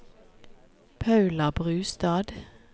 Paula Brustad